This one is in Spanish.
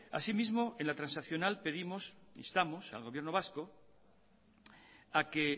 así mismo en la transaccional pedimos instamos al gobierno vasco a que